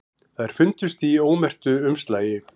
Þær fundust í ómerktu umslagi